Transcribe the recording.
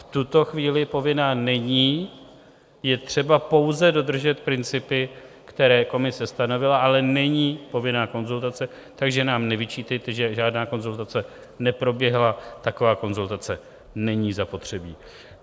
V tuto chvíli povinná není, je třeba pouze dodržet principy, které Komise stanovila, ale není povinná konzultace, takže nám nevyčítejte, že žádná konzultace neproběhla, taková konzultace není zapotřebí.